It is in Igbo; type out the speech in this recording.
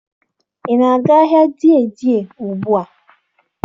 Ị na-aga ahịa Dei Dei ugbua?